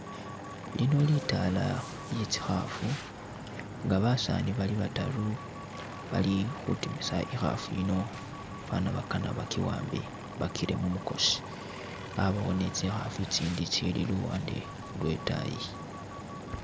Lino litaala lyetsikhafu nga basani bali bataru balikhutimisa ikhafu yiino bafana bakana baki'ambe bakire khumukhosi, abawo ni tsikhafu tsitsindi tsili luwande lwetaayi